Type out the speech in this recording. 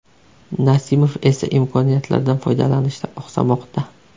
Nasimov esa imkoniyatlardan foydalanishda oqsamoqda.